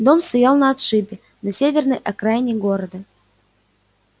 дом стоял на отшибе на северной окраине города